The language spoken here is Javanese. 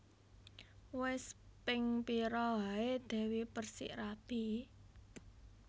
Wes ping pira ae Dewi Perssik rabi?